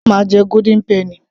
rárá mà á jẹ golden penny